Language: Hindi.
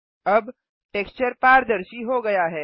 अब टेक्सचर पारदर्शी हो गया है